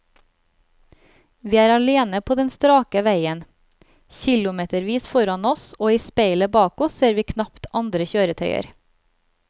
Vi er alene på den strake veien, kilometervis foran oss og i speilet bak oss ser vi knapt andre kjøretøyer.